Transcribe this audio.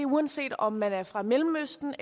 uanset om man er fra mellemøsten